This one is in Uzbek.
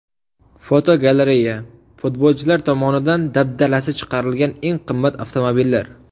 Fotogalereya: Futbolchilar tomonidan dabdalasi chiqarilgan eng qimmat avtomobillar.